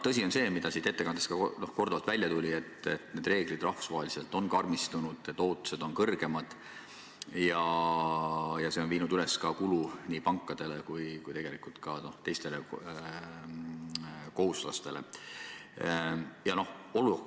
Tõsi on see, mis ka ettekandest korduvalt välja tuli, et reeglid on rahvusvaheliselt karmistunud, ootused on suuremad ja see on suurendanud nii pankade kui ka tegelikult teiste kohuslaste kulu.